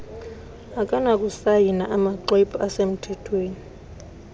akanakusayina amaxhwebhu asemthethweni